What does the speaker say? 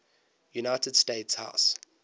united states house